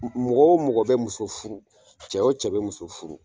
Mɔgɔ wo mɔgɔ be muso furu cɛ wo cɛ be muso furu